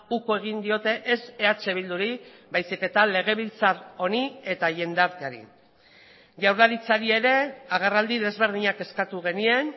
uko egin diote ez eh bilduri baizik eta legebiltzar honi eta jendarteari jaurlaritzari ere agerraldi desberdinak eskatu genien